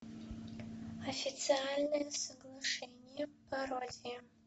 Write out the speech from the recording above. официальное соглашение пародия